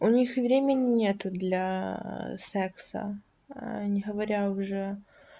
у них и времени нет для секса а не говоря уже